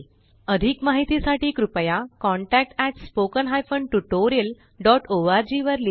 अधिक माहिती साठी कृपया contactspoken tutorialorg वर लिहा